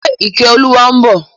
Ṣe Ìkẹ́olúwa ń bọ̀?